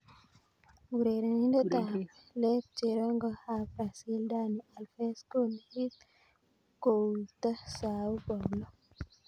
(Talksport) Urerenindet ab let cherongo ab Brazil Dani Alves konegit kouito Sao Paulo.